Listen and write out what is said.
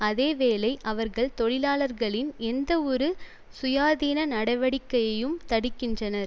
அதே வேளை அவர்கள் தொழிலாளர்களின் எந்தவொரு சுயாதீன நடவடிக்கையையும் தடுக்கின்றனர்